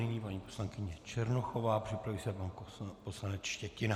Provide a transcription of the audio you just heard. Nyní paní poslankyně Černochová, připraví se pan poslanec Štětina.